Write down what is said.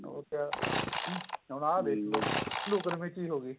ਹੋਰ ਕਿਆ ਹੂਣ ਆਹ ਲੁੱਕਣ ਮੀਚੀ ਹੋਗੀ